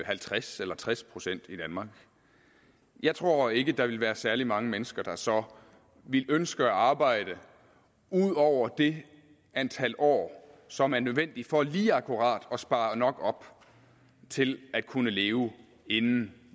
halvtreds eller tres procent i danmark jeg tror ikke at der ville være særlig mange mennesker der så ville ønske at arbejde ud over det antal år som er nødvendigt for lige akkurat at spare nok op til at kunne leve inden